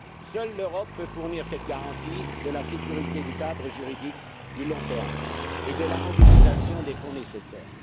Seule l'Europe peut fournir cette garantie de la sécurité du cadre juridique à long terme et de la mobilisation des fonds nécessaires.